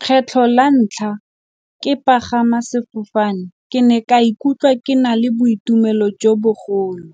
Kgetlho la ntlha ke pagama sefofane ke ne ka ikutlwa ke na le boitumelo jo bogolo,